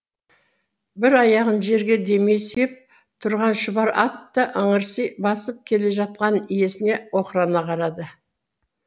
бір аяғын жерге демей сүйеп тұрған шұбар ат та ыңырси басып келе жатқан иесіне оқырана қарады